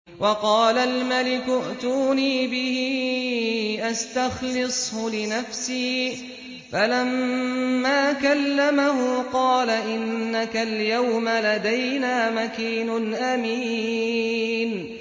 وَقَالَ الْمَلِكُ ائْتُونِي بِهِ أَسْتَخْلِصْهُ لِنَفْسِي ۖ فَلَمَّا كَلَّمَهُ قَالَ إِنَّكَ الْيَوْمَ لَدَيْنَا مَكِينٌ أَمِينٌ